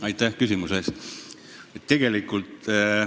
Aitäh küsimuse eest!